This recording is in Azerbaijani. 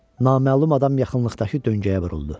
Naməlum adam yaxınlıqdakı döngəyə vuruldu.